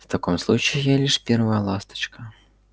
в таком случае я лишь первая ласточка